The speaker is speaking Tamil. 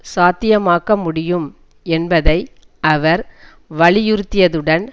சாத்தியமாக்க முடியும் என்பதை அவர் வலியுறுத்தியதுடன்